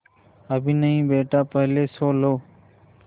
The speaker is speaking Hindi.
अभी नहीं बेटा पहले सो लो